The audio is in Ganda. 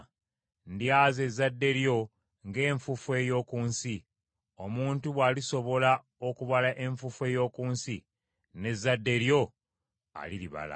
Ndyaza ezzadde lyo ng’enfuufu ey’oku nsi; omuntu bw’alisobola okubala enfuufu ey’oku nsi, n’ezzadde lyo aliribala.